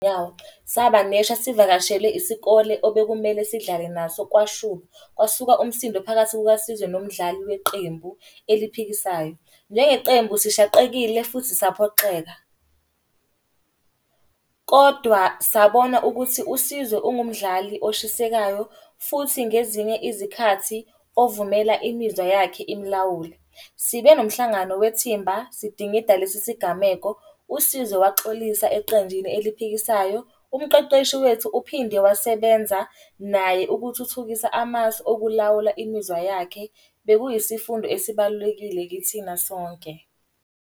Saba neshwa sivakashele isikole obekumele sidlale naso kwashuba, kwasuka umsindo phakathi kukaSizwe nomdlali weqembu eliphikisayo. Neqembu sishaqekile futhi saphoxeka, kodwa sabona ukuthi uSizwe ungumdali oshisekayo futhi ngezinye izikhathi ovumela imizwa yakhe imulawule. Sibe nomhlangano wethimba sidingida lesi sigameko, uSizwe waxolisa eqenjini eliphikisayo. Umqeqeshi wethu uphinde wasebenza naye ukuthuthukisa amasu okulawula imizwa yakhe. Bekuyisifundo esibalulekile kithina sonke.